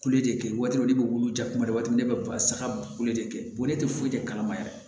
Kule de kɛ waati ne bɛ wuli ja kuma bɛɛ waati min ne bɛ basa kule de kɛ bonnen tɛ foyi tɛ kalama yɛrɛ